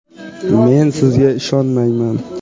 Men sizga ishonmayman!